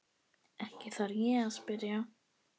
Ekki þarf ég að spyrja.